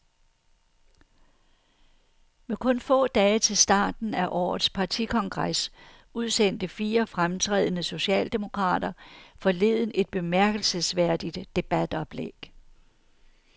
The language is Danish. Med kun få dage til starten af årets partikongres udsendte fire fremtrædende socialdemokrater forleden et bemærkelsesværdigt debatoplæg.